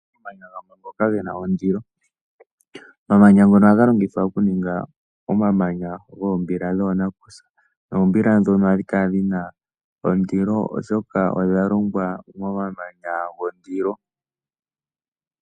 Omamanya gamwe ngoka ge na ondilo. Omamanya ngono ohaga longithwa okuninga omamanya goombila dhoonakusa noombila ndhono ohadhi kala dhi na ondilo, oshoka odha longwa momamanya gondilo.